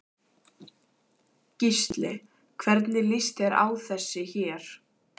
Gísli: Hvernig líst þér á þessi hér?